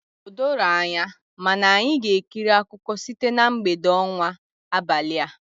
O doro anya, mana anyị ga-ekiri akụkọ site na mgbede ọnwa abalịa.